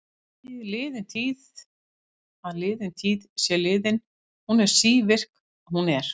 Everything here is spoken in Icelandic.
Liðin er sú tíð að liðin tíð sé liðin, hún er sívirk, hún er.